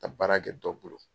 Ka baara kɛ dɔ bolo.